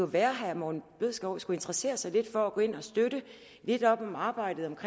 være herre morten bødskov skulle interessere sig lidt for det og gå ind og støtte lidt op om arbejdet